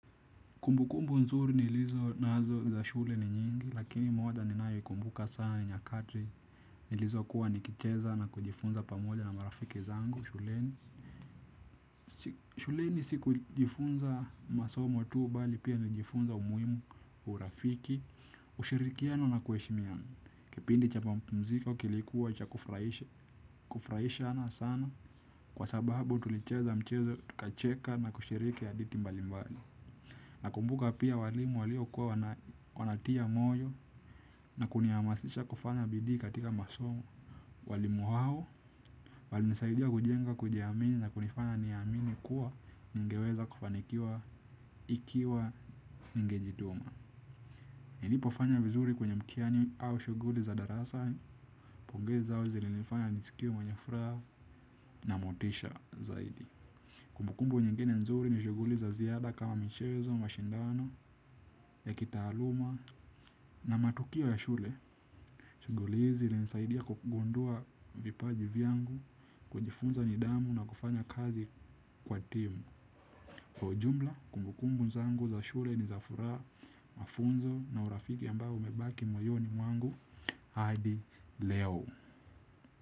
Kumbukumbu nzuri nilizo nazo za shule ni nyingi lakini moja ninayoikumbuka sana ni nyakati nilizokuwa nikicheza na kujifunza pamoja na marafiki zangu shuleni. Shuleni sikujifunza masomo tu bali pia nilijifunza umuhimu wa urafiki ushirikiano na kuheshimiana, kipindi cha mapumziko kilikuwa cha kufurahisha kufurahishana sana kwa sababu tulicheza michezo tukacheka na kushiriki hadithi mbalimbali. Nakumbuka pia walimu waliokuwa wanatia moyo na kunihamasisha kufanya bidii katika masomo. Walimu hao, walinisaidia kujenga kujiamini na kunifanya niamini kuwa ningeweza kufanikiwa ikiwa ningejituma. Nilipofanya vizuri kwenye mtihani au shughuli za darasa, pongezi zao zilinifanya nisikie mwenye furaha na motisha zaidi. Kumbukumbu nyingine nzuri ni shughuli za ziada kama mchezo, mashindano, ya kitaaluma na matukio ya shule. Shughuli hizi zilinisaidia kugundua vipaji vyangu, kujifunza nidhamu na kufanya kazi kwa timu. Kwa ujumla, kumbukumbu zangu za shule ni za furaha mafunzo na urafiki ambao umebaki moyoni mwangu hadi leo.